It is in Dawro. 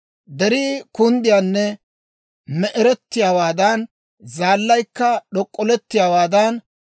«Derii kunddiyaanne me"erettiyaawaadan, zaallaykka d'ok'olettiyaawaadan,